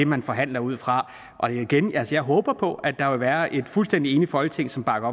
man forhandler ud fra og igen jeg håber på at der vil være et fuldstændig enigt folketing som bakker